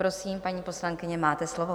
Prosím, paní poslankyně, máte slovo.